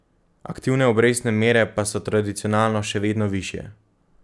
Aktivne obrestne mere pa so tradicionalno še vedno višje.